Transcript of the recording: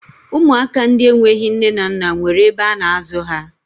Ụmụaka ndị enweghi nne na nna nwere ebe a na-azụ ha